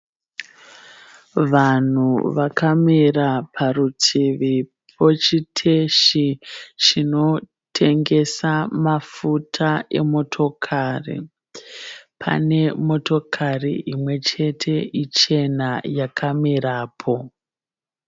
Vanhu vakamira parutivi pochiteshi chinotengesa mafuta emotokari. Pane motokari imwe chete ichena yakamirapo.